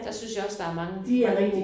Der synes jeg også der er mange ret gode